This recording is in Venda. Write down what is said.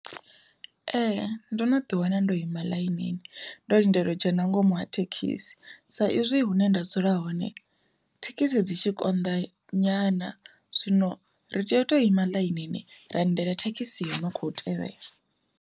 Ee ndo no ḓi wana ndo ima ḽainini ndo lindela u dzhena nga ngomu ha thekhisi, sa izwi hune nda dzula hone thekhisi dzi tshi konḓa nyana zwino ri tea u to ima ḽainini ra lindela thekhisi ino kho tevhela.